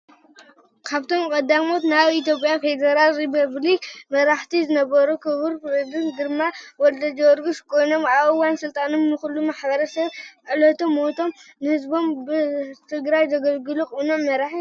ካብቶም ቀዳሞት ናይ ኢትዮጵያ ፌደራላዊ ሪፐብሊክ መራሕቲ ዝነበሩ ክቡር ፕሬዚደንት ግርማ ወልደጊዮርጊስ ኮይኖም ኣብ እዋን ስልጣኖም ንኹሉ ማሕበረሰብ ክሳብ ዕለተ ሞቶም ንህዝቦም ብቕንዕናን ብትግሃትን ዘገልገሉ ቅኑዕ መራሒ ኔሮም።